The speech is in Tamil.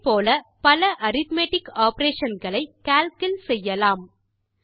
இதே போல பல அரித்மெட்டிக் ஆப்பரேஷன் களை கால்க் இல் செய்யலாம்